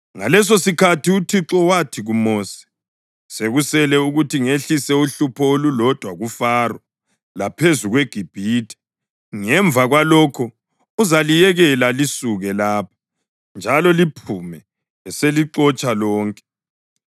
Ngalesosikhathi uThixo wathi kuMosi, “Sekusele ukuthi ngehlise uhlupho olulodwa kuFaro laphezu kweGibhithe. Ngemva kwalokho uzaliyekela lisuke lapha, njalo liphume eselixotsha lonke.